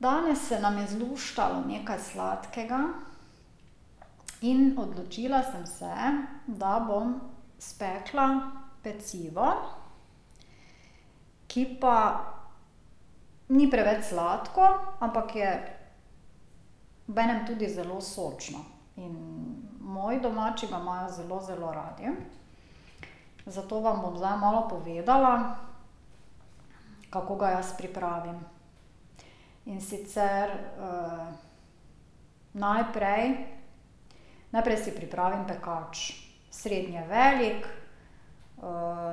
Danes se nam je zluštalo nekaj sladkega in odločila sem se, da bom spekla pecivo, ki pa ni preveč sladko, ampak je obenem tudi zelo sočno, in moji domači ga imajo zelo zelo radi. Zato vam bom zdaj malo povedala, kako ga jaz pripravim. In sicer najprej, najprej si pripravim pekač, srednje velik,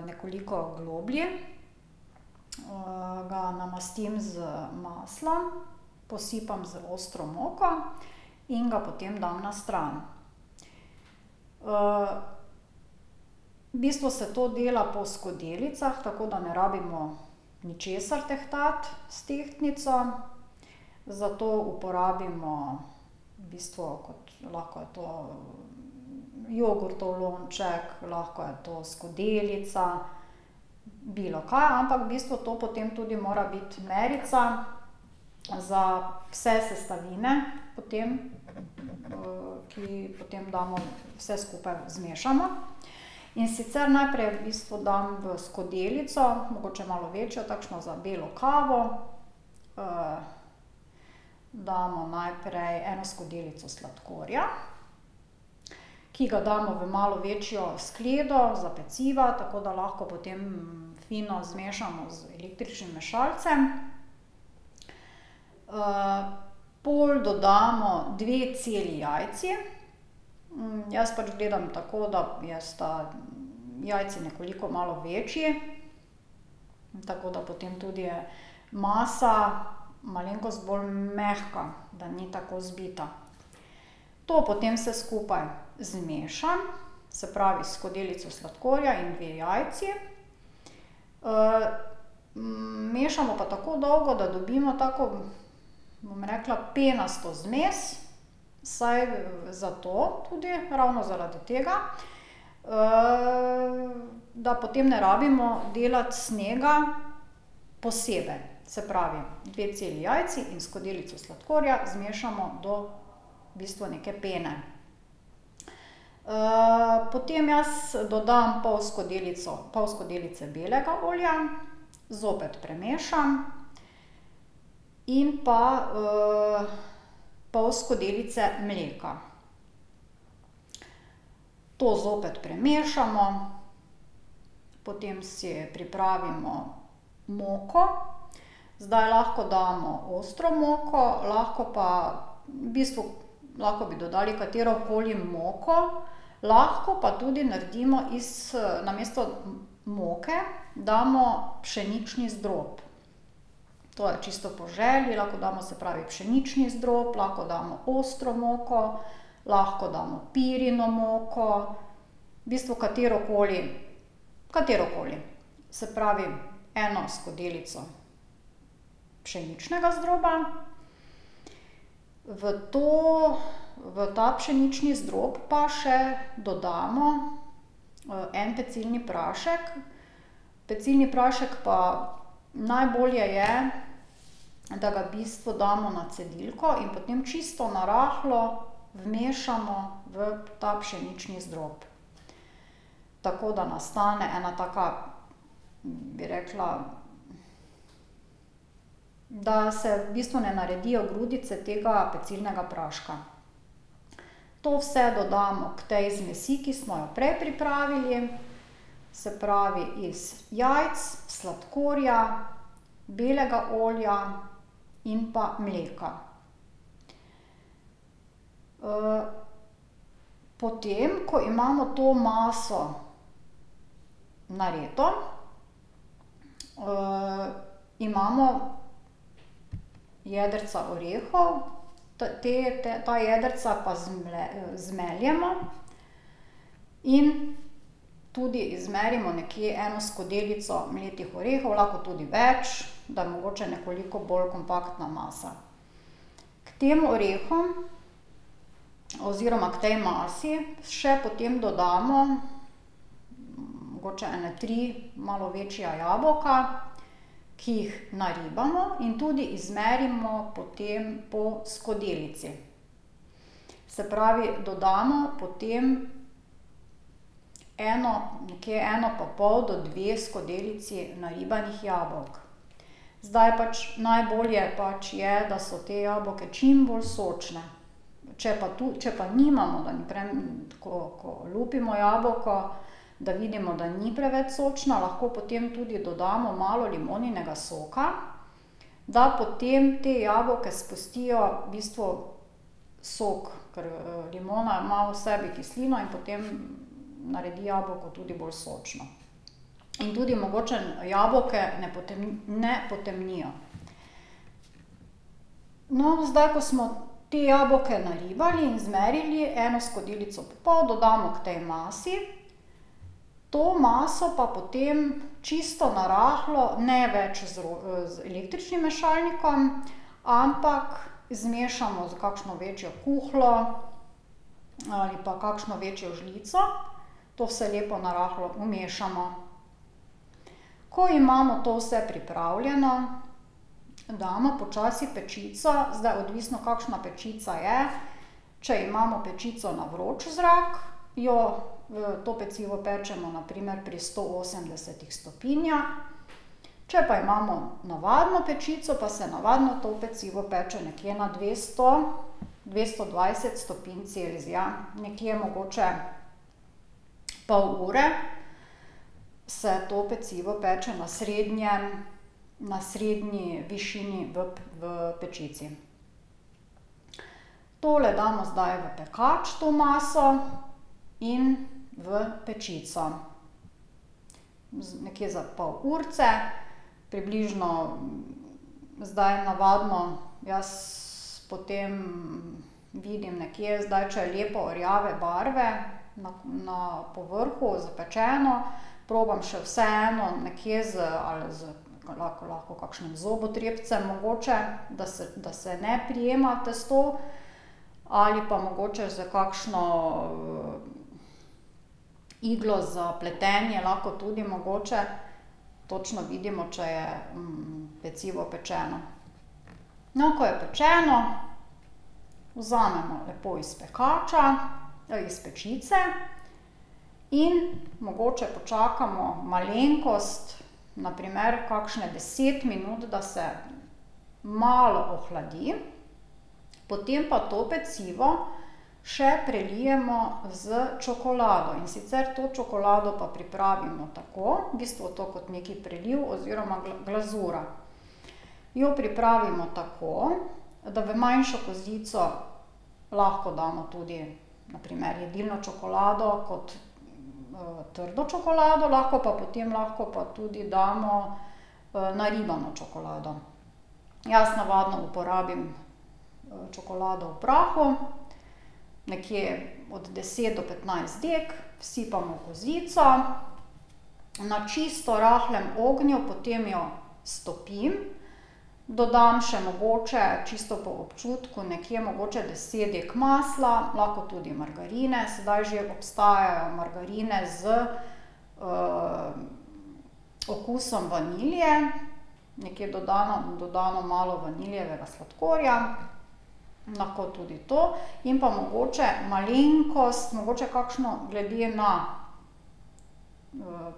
nekoliko globlji, ga namastim z maslom, posipam z ostro moko in ga potem dam na stran. V bistvu se to dela po skodelicah, tako da ne rabimo ničesar tehtati s tehtnico. Zato uporabimo, v bistvu kot, lahko je to jogurtov lonček, lahko je to skodelica, bilokaj, ampak v bistvu to potem tudi mora biti merica za vse sestavine potem, ki potem damo vse skupaj, zmešamo. In sicer najprej v bistvu dam v skodelico, mogoče malo večjo, takšno za belo kavo, damo najprej eno skodelico sladkorja, ki ga damo v malo večjo skledo za peciva, tako da lahko potem fino zmešamo z električnim mešalcem. Pol dodamo dve celi jajci, jaz pač gledam tako, da je, sta jajci nekoliko, malo večji, tako da potem tudi masa malenkost bolj mehka, da ni tako zbita. To potem vse skupaj zmešam, se pravi skodelico sladkorja in dve jajci. Mešamo pa tako dolgo, da dobimo tako, bom rekla, penasto zmes, saj zato tudi, ravno zaradi tega, da potem ne rabimo delati snega posebej, se pravi, dve celi jajci in skodelico sladkorja zmešamo do v bistvu neke pene. potem jaz dodam pol skodelico, pol skodelice belega olja, zopet premešam, in pa pol skodelice mleka. To zopet premešamo, potem si pripravimo moko. Zdaj lahko damo ostro moko, lahko pa v bistvu lahko bi dodali katerokoli moko, lahko pa tudi naredimo iz namesto moke damo pšenični zdrob. Torej čisto po želji, lahko damo, se pravi pšenični zdrob, lahko damo ostro moko, lahko damo pirino moko, v bistvu katerokoli, katerokoli. Se pravi, eno skodelico pšeničnega zdroba. V to, v ta pšenični zdrob pa še dodamo en pecilni prašek. Pecilni prašek pa, najbolje je, da ga v bistvu damo na cedilko in potem čisto na rahlo vmešamo v ta pšenični zdrob. Tako da nastane ena taka, bi rekla, da se v bistvu ne naredijo grudice tega pecilnega praška. To vse dodamo k tej zmesi, ki smo jo prej pripravili, se pravi iz jajc, sladkorja, belega olja in pa mleka. Potem, ko imamo to maso narejeno, imamo jedrca orehov, te ta jedrca pa zmeljemo in tudi zmerimo nekje eno skodelico mletih orehov, lahko tudi več, da je mogoče nekoliko bolj kompaktna masa. K tem orehom oziroma k tej masi še potem dodamo mogoče ene tri malo večja jabolka, ki jih naribamo in tudi izmerimo potem po skodelici. Se pravi, dodamo potem eno, nekje eno pa pol do dve skodelici naribanih jabolk. Zdaj pač najbolje pač je, da so ta jabolka čim bolj sočna, če pa tu, če pa nimamo, da ni ko, ko lupimo jabolko, da vidimo, da ni preveč sočno, lahko potem dodamo tudi malo limoninega soka, da potem ta jabolka spustijo v bistvu sok, ker limona ima v sebi kislino in potem naredi jabolko tudi bolj sočno. In tudi mogoče jabolka ne ne potemnijo. No, zdaj, ko smo ta jabolka naribali in izmerili, eno skodelico pa pol, dodamo k tej masi. To maso pa potem čisto na rahlo, ne več z z električnim mešalnikom, ampak zmešamo s kakšno večjo kuhljo ali pa kakšno večjo žlico. To vse lepo na rahlo vmešamo. Ko imamo to vse pripravljeno, damo počasi pečico, zdaj odvisno, kakšna pečica je, če imamo pečico na vroč zrak, jo, to pecivo pečemo na primer pri sto osemdesetih stopinjah, če pa imamo navadno pečico, pa se navadno to pecivo peče nekje na dvesto, dvesto dvajset stopinj Celzija, nekje mogoče pol ure se to pecivo peče na srednje, na srednji višini v pečici. Tole damo zdaj v pekač to maso in v pečico. nekje za pol urice, približno, zdaj navadno jaz potem vidim nekje, zdaj, če je lepo rjave barve na, na po vrhu zapečeno, probam še vseeno nekje z ali z lahko lahko kakšnim zobotrebcem mogoče, da se, da se ne prijema testo, ali pa mogoče s kakšno iglo za pletenje lahko tudi mogoče. Točno vidimo, če je pecivo pečeno. No, ko je pečeno, vzamemo lepo iz pekača, iz pečice in mogoče počakamo malenkost, na primer kakšnih deset minut, da se malo ohladi, potem pa to pecivo še prelijemo s čokolado, in sicer to čokolado pa pripravimo tako, v bistvu to kot neki preliv oziroma glazura. Jo pripravimo tako, da v manjšo kozico lahko damo tudi na primer jedilno čokolado kot trdo čokolado, lahko pa potem, lahko pa tudi damo naribano čokolado. Jaz navadno uporabim čokolado v prahu. Nekje od deset do petnajst dag vsipamo v kozico, na čisto rahlem ognju, potem jo stopim, dodam še mogoče, čisto po občutku, nekje mogoče deset dag masla, lahko tudi margarine, sedaj že obstajajo margarine z okusom vanilije, nekje dodamo, dodamo malo vanilijevega sladkorja. Lahko tudi to in pa mogoče malenkost, mogoče kakšno, glede na,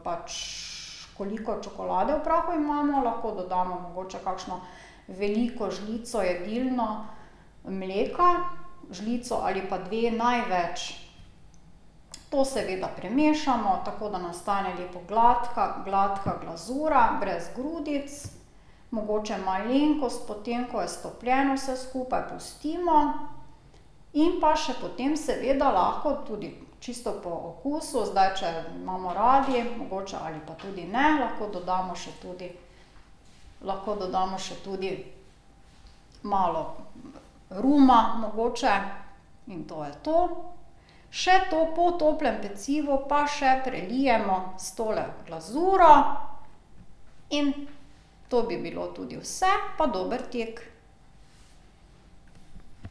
pač koliko čokolade v prahu imamo, lahko dodamo mogoče kakšno veliko žlico jedilno mleka, žlico ali pa dve največ. To seveda premešamo, tako da nastane lepo gladka, gladka glazura, brez grudic. Mogoče malenkost potem, ko je stopljeno, vse skupaj pustimo. In pa še potem seveda lahko tudi, čisto po okusu, zdaj če imamo radi, mogoče ali pa tudi ne, lahko dodamo še tudi, lahko dodamo še tudi malo ruma mogoče, in to je to. Še to, po toplem pecivu pa še prelijemo s tole glazuro in to bi bilo tudi vse. Pa dober tek.